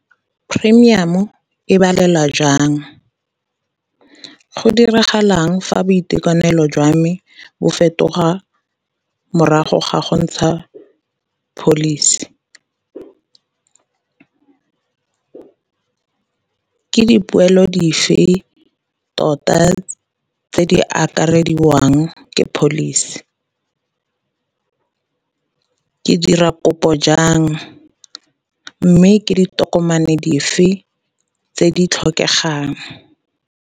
Premium-o e balelwa jang? Go diragalang fa boitekanelo jwa me bo fetoga morago ga go ntsha pholisi? Ke dipoelo dife tota tse di akarediwang ke pholisi? Ke dira kopo jang, mme ke ditokomane dife tse di tlhokegang?